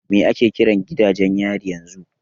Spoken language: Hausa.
Me ake kiran gidajen yari yanzu?